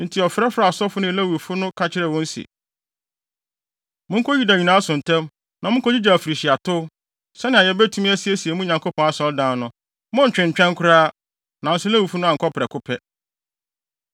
Enti ɔfrɛfrɛɛ asɔfo ne Lewifo no ka kyerɛɛ wɔn se, “Monkɔ Yuda nkurow nyinaa so ntɛm, na munkogyigye afirihyiatow, sɛnea yebetumi asiesie mo Nyankopɔn Asɔredan no. Monntwentwɛn koraa.” Nanso Lewifo no ankɔ prɛko pɛ.